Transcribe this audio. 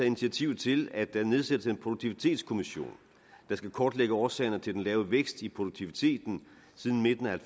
initiativ til at der nedsættes en produktivitetskommission der skal kortlægge årsagerne til den lave vækst i produktiviteten siden midten af